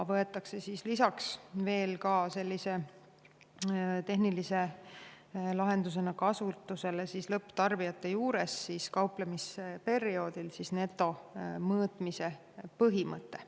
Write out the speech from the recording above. Lisaks võetakse tehnilise lahendusena kasutusele lõpptarbijate juures kauplemisperioodil netomõõtmise põhimõte.